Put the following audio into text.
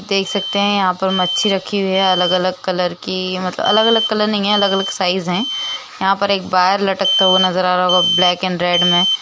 देख सकते हैं यहाँ पर मच्छी रखी हुई हैं अलग-अलग कलर की मतलब अलग-अलग कलर नही हैं अलग-अलग साइज़ हैं। यहाँ पर एक बार लटकता हुआ नज़र आ रहा होगा। ब्लैक एंड रेड में।